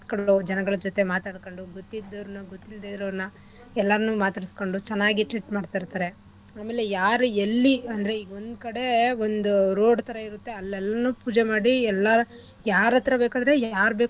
ಜನಗಳ ಜೊತೆ ಮಾತಾಡಕೊಂಡು ಗೊತ್ತಿದ್ದೊರ್ನ ಗೊತ್ತಿಲ್ದೆಇರೋರ್ನ ಎಲ್ಲಾರ್ನೂ ಮಾತಾಡ್ಸಿಕೊಂಡು ಚೆನ್ನಾಗಿ treat ಮಾಡ್ತ ಇರ್ತರೆ ಅಮೇಲೆ ಯಾರು ಎಲ್ಲಿ ಅಂದ್ರೆ ಒಂದು ಕಡೆ ಒಂದು road ಥರ ಇರುತ್ತೆ ಮತ್ತೇ ಅಲ್ಲೆಲ್ರೂ ಪೂಜೆ ಮಾಡಿ ಎಲ್ಲ ಯಾರಾತ್ರ ಬೇಕಾದ್ರೆ ಯಾರ್ ಬೇಕಾದ್ರು.